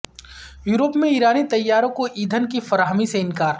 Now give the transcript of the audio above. Europe میں ایرانی طیاروں کو ایندھن کی فراہمی سے انکار